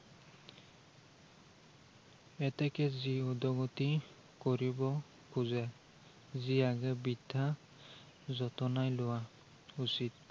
এতেকে যি উদ্গতি কৰিব খোজে, সি আগেয়ে বিদ্য়া যতনাই লোৱা উচিত।